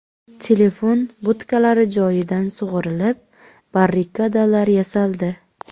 Telefon budkalari joyidan sug‘urilib, barrikadalar yasaldi.